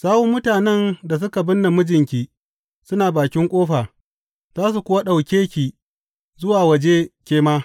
Sawun mutanen da suka binne mijinki suna bakin ƙofa, za su kuwa ɗauke ki zuwa waje ke ma.